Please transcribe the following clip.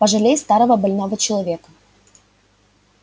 пожалей старого больного человека